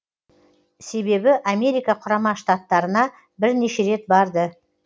себебі америка құрама штаттарына бірнеше рет барды